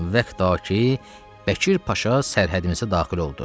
Vəqda ki, Bəkir Paşa sərhədimizə daxil oldu.